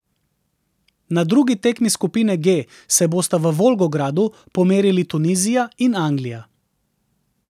Na drugi tekmi skupine G se bosta v Volgogradu pomerili Tunizija in Anglija.